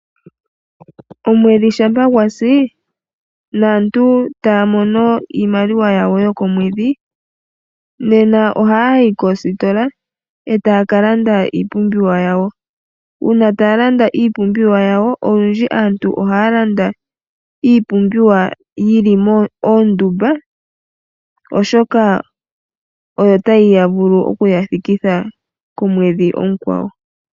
Omwedhi shampa gwasi, naantu taya mono iimaliwa yawo yokomwedhi, nena ohaya yi koositola etaya kalanda iipumbiwa yawo. Uuna taya landa iipumbiwa yawo, olundji aantu ohaya landa iipumbiwa yili moondumba oshoka oyo tayi vulu okuya thikitha komwedhi omukwawo.